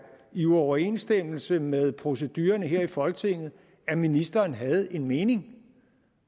i uoverensstemmelse med procedurerne her i folketinget at ministeren havde en mening